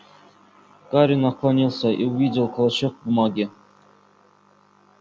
гарри наклонился и увидел клочок бумаги